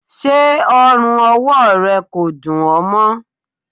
Ṣé ọrùn-ọwọ rẹ kò dún ọ mọ?